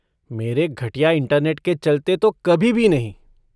मेरे घटिया इंटरनेट के चलते तो कभी भी नहीं।